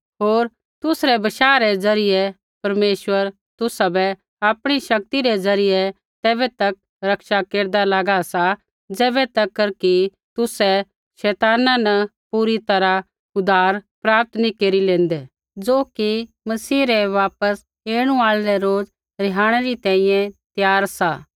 होर तुसरै बशाह रै ज़रियै परमेश्वर तुसाबै आपणी शक्ति रै ज़रियै तैबै तक रक्षा केरदा लागा सा ज़ैबै तक कि तुसै शैताना न पूरी तैरहा उद्धार प्राप्त नैंई केरी लेंदे ज़ो कि मसीह रै वापस ऐणु आल़ै रै रोज़ रिहाणै री तैंईंयैं त्यार सा